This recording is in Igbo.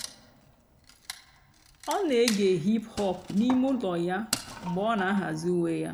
ọ́ nà-ège hìp-hòp n'íìmé ụ́lọ́ yá mg̀bé ọ́ nà-àhàzị́ ùwé yá.